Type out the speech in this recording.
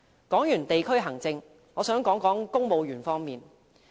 談過地區行政後，我想談談公務員方面。